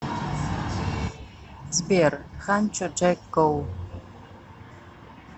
сбер ханчо джэк гоу